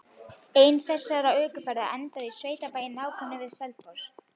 Ein þessara ökuferða endaði á sveitabæ í nágrenni við Selfoss.